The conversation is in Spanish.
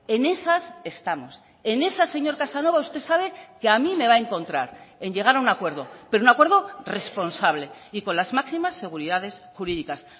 en esas estamos en esas señor casanova usted sabe que a mí me va a encontrar en llegar a un acuerdo pero un acuerdo responsable y con las máximas seguridades jurídicas